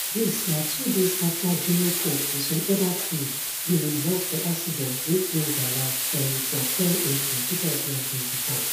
dis na two days afta junior pope and some oda crew bin involve for accident wey claim dia life um for ten april 2024